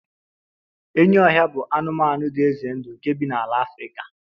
enyi ohia bụ anụmanụ dị ize ndụ nke bi na ala Afrika